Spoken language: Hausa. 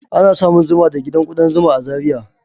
Ana samun zuma da gidan kudan zuma a Zariya